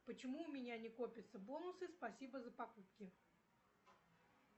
почему у меня не копятся бонусы спасибо за покупки